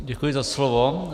Děkuji za slovo.